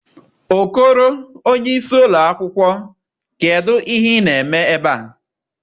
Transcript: Okoro onye isi ụlọ akwụkwọ, kedu ihe ị na-eme ebe a?